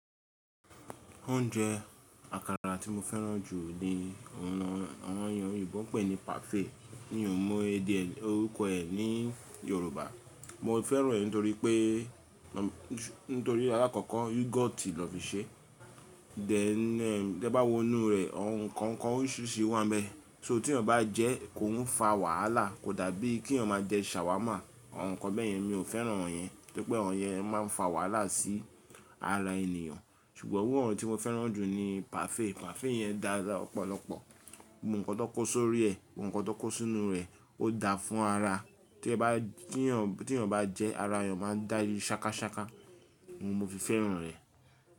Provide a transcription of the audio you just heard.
Oúnjẹ àkàrà tí mo fẹ́ràn jù ni àwọn èèyàn òyìnbo pè ní parfait. Mi ò mọ orúkọ ẹ̀ ní Yorùbá. Mo fẹ́ràn rẹ̀ nítorí pé, nítorí alákọ̀kọ́ yogoti lọ fi ṣe. Dẹ̀ ẹ́, tí ẹ bá wo inú rẹ̀, àwọn ǹkan ǹkan oríṣìíríṣìí wà níbẹ̀. So tí ọ̀yán bá jẹ́, kò ń fa wàhálà kò dàbí kí ọ̀n máa jẹ shawarma, àwọn ǹkan bẹ́ẹ̀ yẹn mi ò fẹ́ràn àwọn ẹ̀ yẹn, nítorí pé àwọn ẹ̀ yẹn máa ń fa wàhálà sí ara ènìyàn. Ṣùgbọ́n owó àwọn tí mo fẹ́ràn jù ni parfait. Parfait yẹn dà ọ̀pọ̀lọpọ̀. Ohun kan tó kó sórí ẹ̀, ohun kan tó kó sínú rẹ̀, ó da fún ara. Tí ẹ bá, tí ọ̀n, tí ọ̀n bá jẹ́ ara ọ̀n máa ń dáyi sákasáka. Mo fi fẹ́ràn rẹ̀.